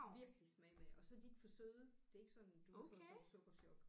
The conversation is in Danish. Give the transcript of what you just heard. Virkelig smage mandler og så er de ikke for søde det er ikke sådan du får sådan sukkerchok